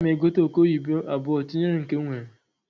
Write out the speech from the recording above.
Aga m egote oke oyibo abuọ tinyere nke n nwere.